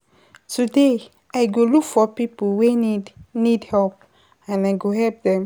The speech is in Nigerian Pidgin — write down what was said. um Because I learn sey patience dey pay, today I pay, today I go take my time wit everytin